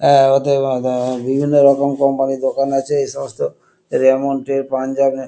এ ওতে উঃ বিভিন্ন রকম কোম্পানি এর দোকান আছে এই সমস্ত রেমন্ড এর পাঞ্জাবি।